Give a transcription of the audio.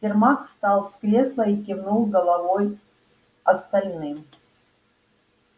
сермак встал с кресла и кивнул головой остальным